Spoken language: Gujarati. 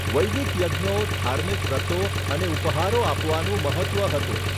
વૈદિક યજ્ઞો, ધાર્મિક વ્રતો અને ઉપહારો આપવાનું મહત્ત્વ હતું.